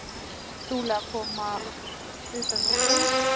Trúlega að koma utan úr búð.